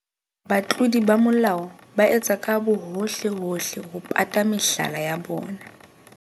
Batlodi ba molao ba etsa ka bohohlehohle ho pata mehlala ya bona.